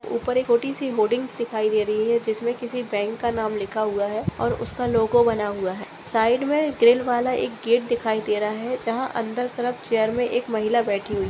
उपर एक छोटीसी होल्डिंग दिखाए दे रही है जिसमे किसी बैंक का नाम लिखा हुआ है और उसका लोगो बना हुआ है साइड मे ग्रिल वाला एक गेट दिखाए दे रहा है जहा अंदर के तरफ चइर मे एक महिला बैठी हुए है।